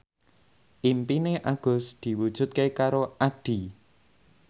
impine Agus diwujudke karo Addie